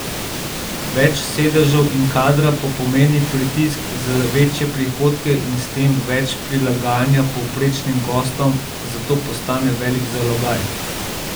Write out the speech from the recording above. Več sedežev in kadra pa pomeni pritisk za večje prihodke in s tem več prilagajanja povprečnim gostom, zato postane velik zalogaj.